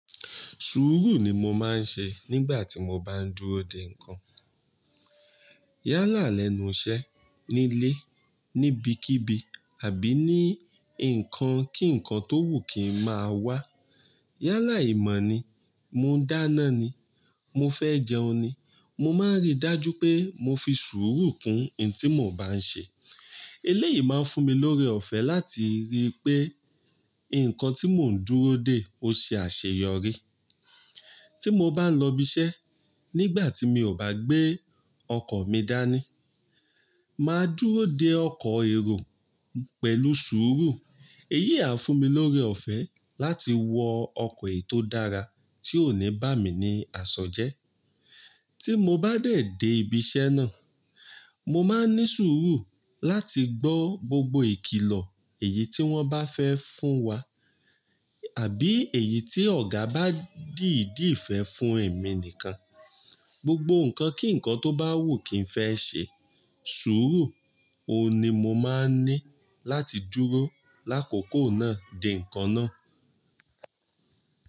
Sùúrù ni mo máa ń ṣe nígbà tí mo bá ń dúró dè nǹkan. Yálà lẹ́nu iṣẹ́ nílé, níbikíbi àbí ní nǹkan kí nǹkan tó wù kì í máa wá. Yálà ìmọ̀ ni, mo dáná ni, mo fẹ́ jẹun ni, mo máa ń rí dájú pé mo fi sùúrù kún ohun tí mo bá ń ṣe. Eléyìí máa ń fún mi lórí ọ̀fẹ́ láti rí pé nǹkan tí mò ń dúró dè ó ṣe àṣeyọrí. Tí mo bá ń lọ ibi iṣẹ́, nígbà tí mi ò bá gbé ọkọ̀ mi dání, màá dúró dè ọkọ̀ èrò pẹ̀lú sùúrù. Eyí à ń fún mi lórí ọ̀fẹ́ láti wọ ọkọ̀ ètò dára tí ò ní bá mi ní àṣọjẹ́. Tí mo bá dẹ̀ dé ibi iṣẹ́ náà, mo máa ń ní sùúrù láti gbọ́ gbogbo ìkìlọ èyí tí wọ́n bá fẹ́ fún wa àbí èyí tí ọ̀gá bá dìdí fẹ́ fún èmi nìkan. Gbogbo nǹkan kí nǹkan tó bá wù kí ń fẹ́ ṣe, sùúrù òun ni mo máa ń ní láti dúró lákòókò náà dè nǹkan náà.